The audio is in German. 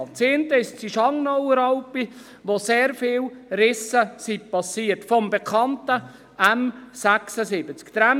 Eine war die Schangnauer Alp, wo durch den bekannten M76 sehr viele Risse geschehen sind.